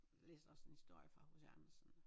Læste også en historie fra H C Andersen